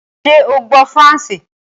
Sé o gbó faransé?